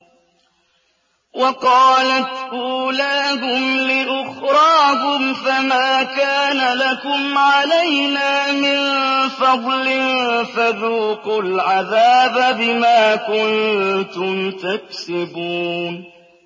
وَقَالَتْ أُولَاهُمْ لِأُخْرَاهُمْ فَمَا كَانَ لَكُمْ عَلَيْنَا مِن فَضْلٍ فَذُوقُوا الْعَذَابَ بِمَا كُنتُمْ تَكْسِبُونَ